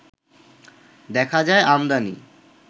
দেখা যায় আমদানি